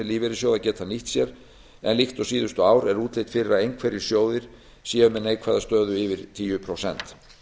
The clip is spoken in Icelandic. lífeyrissjóða geta nýtt sér en líkt og síðustu ár er útlit fyrir að einhverjir sjóðir séu með neikvæða stöðu yfir tíu prósent